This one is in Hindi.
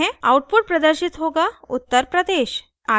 आउटपुट प्रदर्शित होगा uttar pradesh